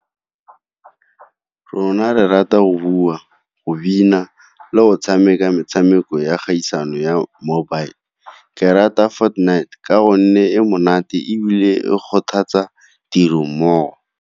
Rona re rata go bua, go bina, le go tshameka metshameko ya kgaisano ya mobile. Ke rata ka gonne e monate ebile e kgothatsa tirong mmogo.